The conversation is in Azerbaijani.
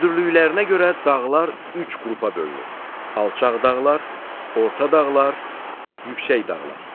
Hündürlüklərinə görə dağlar üç qrupa bölünür: alçaq dağlar, orta dağlar, yüksək dağlar.